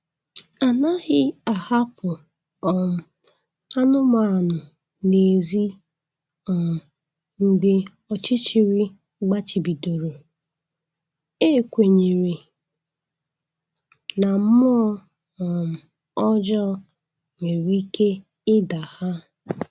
Anaghị ahapụ um anụmanụ n'ezi um mgbe ọchịchịrị gbachibidoro, e kwenyere na mmụọ um ọjọọ nwere ike ịda ha